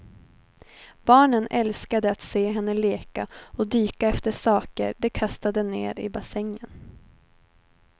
Barnen älskade att se henne leka och dyka efter saker de kastade ned i bassängen.